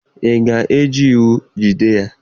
Ị ga-eji iwu jide ya?